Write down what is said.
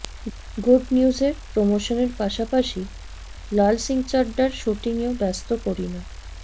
good নিউজের প্রমোশনের পাশাপাশি লাল সিং চাড্ডার স্যুটিংয়েও ব্যস্ত করিনা